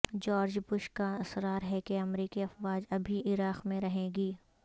George Bush کا اصرار ہے کہ امریکی افواج ابھی عراق میں رہیں گی